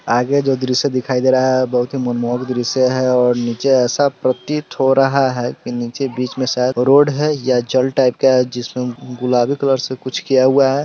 आगे जो दृश्य दिखाई दे रहा है बहुत ही मनमोहक दृश्य और नीचे ऐसा प्रतीत हो रहा है कि नीचे बीच में शायद रोड है या जल टाइप का है जिसमें गुलाबी कलर से कुछ किया हुआ है।